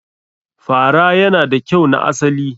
Fara yana da kyau na asali.